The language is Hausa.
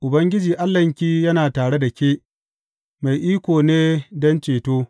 Ubangiji Allahnki yana tare da ke, mai iko ne don ceto.